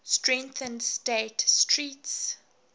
strengthened state street's